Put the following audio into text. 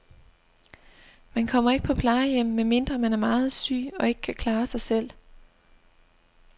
Man kommer ikke på plejehjem, medmindre man er meget syg og ikke kan klare sig selv.